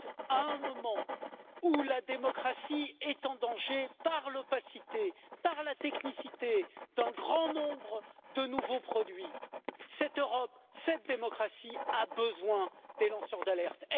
À un moment où la démocratie est en danger, par l'opacité, par la technicité d'un grand nombre de nouveaux produits, cette Europe, cette démocratie, a besoin des lanceurs d'alerte.